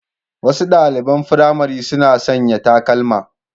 Wasu ɗaliɓan firamare suna sanƴa takalma